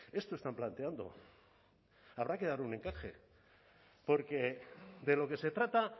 esto están planteando habrá que dar un encaje porque de lo que se trata